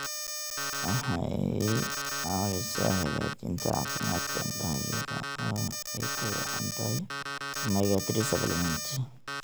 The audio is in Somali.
Waxay caawisaa hagaajinta caafimaadka indhaha iyada oo ay ugu wacan tahay omega-3 supplements.